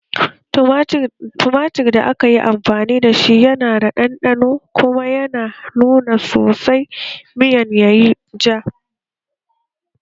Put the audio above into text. Tumatir da aka yi amfani da shi yana da ɗanɗano kuma ya nuna sosai miyan yayi ja